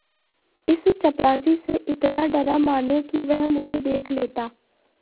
इस चपरासी से इतना डरा मानो कि वह मुझे देख लेता